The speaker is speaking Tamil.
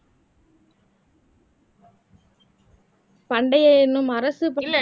பண்டைய எண்ணும் அரசு